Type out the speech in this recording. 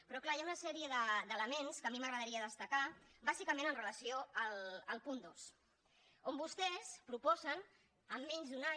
però clar hi ha una sèrie d’elements que a mi m’agradaria destacar bàsicament amb relació al punt dos on vostès proposen en menys d’un any